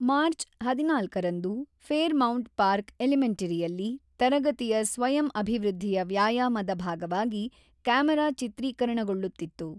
March ೧೪ರಂದು Fairmount park ಎಲಿಮೆಂಟರಿಯಲ್ಲಿ ತರಗತಿಯ ಸ್ವಯಂ-ಅಭಿವೃದ್ಧಿಯ ವ್ಯಾಯಾಮದ ಭಾಗವಾಗಿ ಕ್ಯಾಮರಾ ಚಿತ್ರೀಕರಣಗೊಳ್ಳುತ್ತಿತ್ತು.